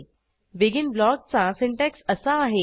begin ब्लॉकचा syntax असा आहे